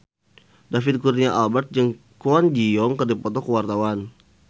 David Kurnia Albert jeung Kwon Ji Yong keur dipoto ku wartawan